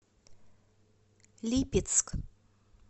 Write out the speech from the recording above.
липецк